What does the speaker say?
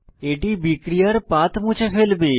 এটি বিক্রিয়ার পাথ মুছে ফেলবে